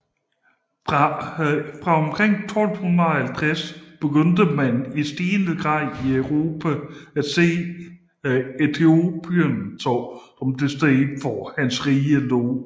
Fra omkring 1250 begyndte man i stigende grad i Europa at se Ethiopien som det sted hvor hans rige lå